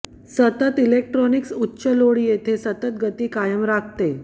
सतत इलेक्ट्रॉनिक्स उच्च लोड येथे सतत गती कायम राखते